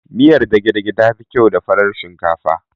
Miyar dage dage tafi kyau da farar shinkafa